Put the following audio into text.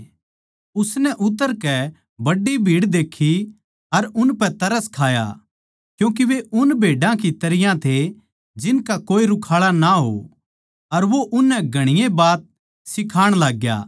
उसनै उतरकै बड्डी भीड़ देक्खी अर उनपै तरस खाया क्यूँके वे उन भेड्या की तरियां थे जिनका कोए रुखाळा ना हो अर वो उननै घणीए बात सिखाण लागग्या